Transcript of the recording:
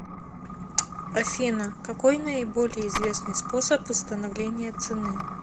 афина какой наиболее известный способ установления цены